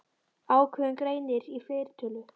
Ákveðinn greinir í fleirtölu.